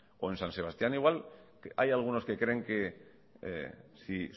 o en san sebastián igual hay algunos que creen que si